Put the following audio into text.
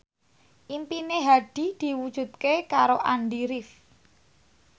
impine Hadi diwujudke karo Andy rif